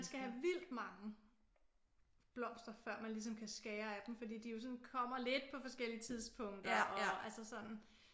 Man skal have vildt mange blomster før man ligesom kan skære af dem fordi de jo sådan kommer lidt på forskellige tidspunkter og altså sådan